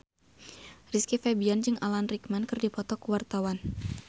Rizky Febian jeung Alan Rickman keur dipoto ku wartawan